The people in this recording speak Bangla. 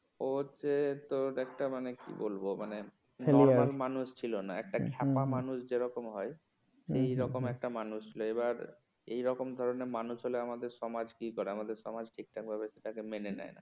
ও হচ্ছে তোর একটা মানে কি বলবো মানে normal মানুষ ছিল না একটা খ্যাপা মানুষ যেরকম হয় সেই রকম একটা মানুষ ছিল এবার এইরকম ধরনের মানুষ হলে আমাদের সমাজ কি করে আমাদের সমাজ ঠিকঠাকভাবে তাকে মেনে নেয় না।